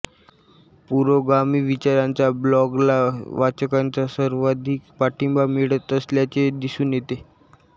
पुरोगामी विचारांच्या ब्लॉगला वाचकांचा सर्वाधिक पाठिंबा मिळत असल्याचे दिसून येते